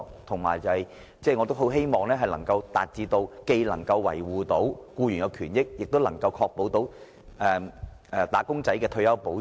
我也十分希望政府既能維護僱員權益，也能確保"打工仔"獲得退休保障。